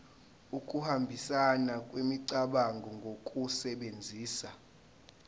ukuhambisana kwemicabango ngokusebenzisa